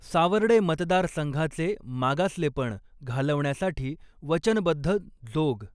सावर्डे मतदारसंघाचे मागसलेपण घालवण्यासाठी वचनबध्द जोग